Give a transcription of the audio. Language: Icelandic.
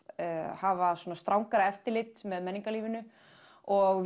hafa strangara eftirlit með menningarlífinu og